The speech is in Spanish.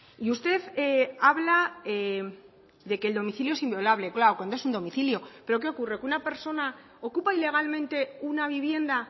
y usted habla de que el domicilio es inviolable claro cuando es un domicilio pero qué ocurre que una persona ocupa ilegalmente una vivienda